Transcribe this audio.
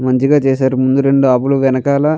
మంచిగా చేసారు ముందు రెండు వెనకాల--